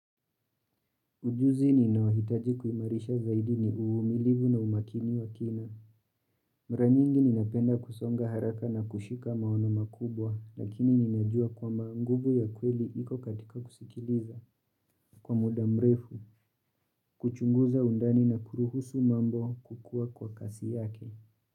Ujuzi ni ninaowhitaji kuimarisha zaidi ni uumilivu na umakini wa kina. Mara nyingi napenda kusonga haraka na kushika maono makubwa, lakini ni najua kwamba nguvu ya kweli iko katika kusikiliza. Kwa mudamrefu, kuchunguza undani na kuruhusu mambo kukuwa kwa kasi yake.